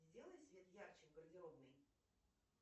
сделай свет ярче в гардеробной